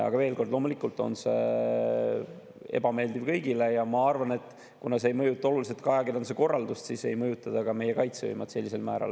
Aga veel kord: loomulikult on see ebameeldiv kõigile, aga ma arvan, et kuna see ei mõjuta oluliselt ajakirjanduse korraldust, siis ei mõjuta see ka meie kaitsevõimet sellisel määral.